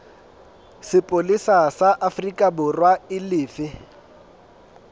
sepolesa sa aforikaborwa e lefe